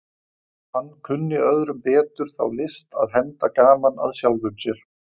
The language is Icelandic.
Hann kunni öðrum betur þá list að henda gaman að sjálfum sér.